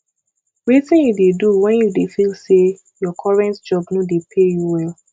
wetin you dey do when you dey feel say your current job no dey pay you well